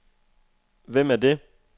Hvem er det